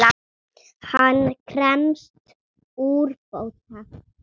Hann krefst úrbóta.